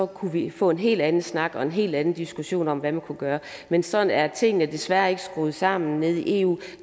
kunne vi få en helt anden snak og en hel anden diskussion om hvad man kunne gøre men sådan er tingene desværre ikke skruet sammen nede i eu